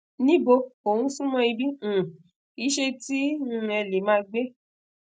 nibo o sunmo ibi um ise ti um e le maa gbe